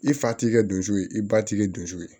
I fa ti kɛ dusu ye i ba tikɛ dusu ye